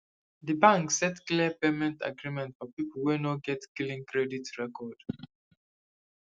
di bank set clear payment agreement for people wey no get clean credit record